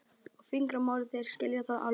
og fingramálið, þeir skilja það alveg.